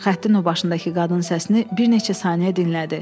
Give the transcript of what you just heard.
Xəttin o başındakı qadın səsini bir neçə saniyə dinlədi.